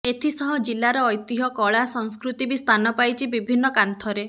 ଏଥିସହ ଜିଲ୍ଲାର ଐତିହ୍ୟ କଳା ସଂସ୍କୃତି ବି ସ୍ଥାନ ପାଇଛି ବିଭିନ୍ନ କାନ୍ଥରେ